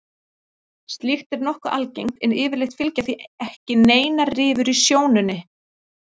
Slíkt er nokkuð algengt en yfirleitt fylgja því ekki neinar rifur í sjónunni.